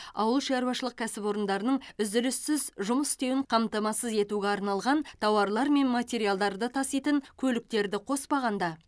ауылшаруашылық кәсіпорындарының үзіліссіз жұмыс істеуін қамтамасыз етуге арналған тауарлар мен материалдарды таситын көліктерді қоспағанда